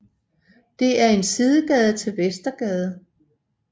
Det er en sidegade til Vestergade